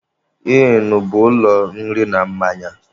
ỊỊnụ bụ ụlọ nri na mmanya.